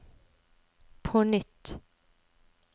på nytt